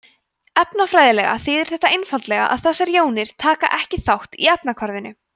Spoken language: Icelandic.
efnafræðilega þýðir þetta einfaldlega að þessar jónir taka ekki þátt í efnahvarfinu